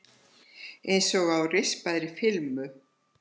Einsog á rispaðri filmu.